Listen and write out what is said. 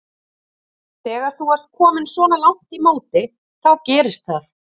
Þegar þú ert kominn svona langt í móti þá gerist það.